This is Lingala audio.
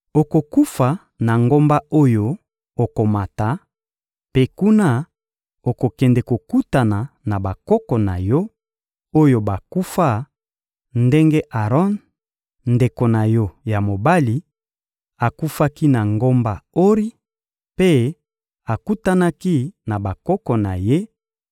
Okokufa na ngomba oyo okomata; mpe kuna, okokende kokutana na bakoko na yo, oyo bakufa ndenge Aron, ndeko na yo ya mobali, akufaki na ngomba Ori mpe akutanaki na bakoko na ye,